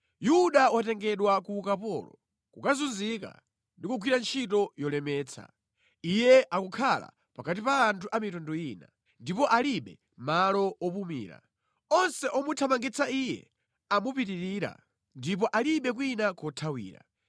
Yuda watengedwa ku ukapolo, kukazunzika ndi kukagwira ntchito yolemetsa. Iye akukhala pakati pa anthu a mitundu ina; ndipo alibe malo opumulira. Onse omuthamangitsa iye amupitirira, ndipo alibe kwina kothawira.